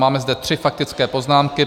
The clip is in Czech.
Máme zde tři faktické poznámky.